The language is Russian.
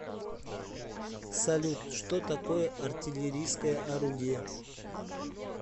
салют что такое артиллерийское орудие